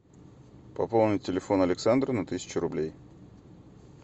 пополнить телефон александра на тысячу рублей